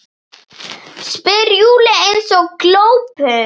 spyr Júlía eins og glópur.